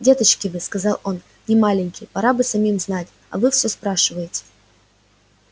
деточки вы сказал он не маленькие пора бы самим знать а вы всё спрашиваете